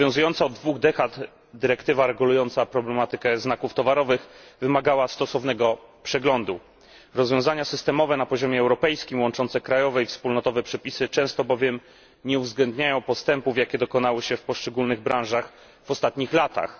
Obowiązująca od dwóch dekad dyrektywa regulująca problematykę znaków towarowych wymagała stosownego przeglądu. Rozwiązania systemowe na poziomie europejskim, łączące krajowe i wspólnotowe przepisy, często bowiem nie uwzględniają postępów, jakie dokonały się w poszczególnych branżach w ostatnich latach.